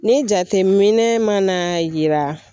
Ni jateminɛ mana yira